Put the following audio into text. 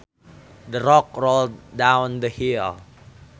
The rock rolled down the hill